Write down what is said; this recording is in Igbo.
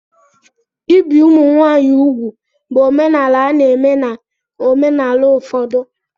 Ibi ụmụ nwanyị úgwù bụ omenala a na-eme na omenala ụfọdụ.